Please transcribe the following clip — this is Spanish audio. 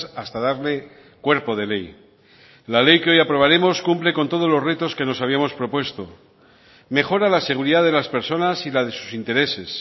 hasta darle cuerpo de ley la ley que hoy aprobaremos cumple con todos los retos que nos habíamos propuesto mejora la seguridad de las personas y la de sus intereses